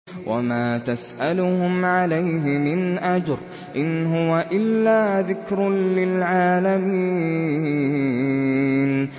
وَمَا تَسْأَلُهُمْ عَلَيْهِ مِنْ أَجْرٍ ۚ إِنْ هُوَ إِلَّا ذِكْرٌ لِّلْعَالَمِينَ